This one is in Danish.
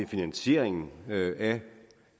finansieringen af